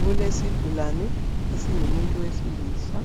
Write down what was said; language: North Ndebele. Kulesigulane esingumuntu wesilisa